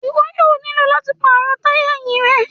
Iwọ yoo nilo lati paarọ taya ẹhin rẹ